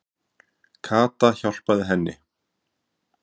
Kata hjálpaði henni.